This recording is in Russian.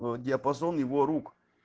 диапазон его рук